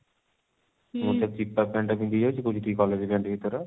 ମୁଁ ଥରେ ଚିପା pant ଟା ପିନ୍ଧିକି ଯାଇଛି କହୁଛି college pant ଟି ତୋର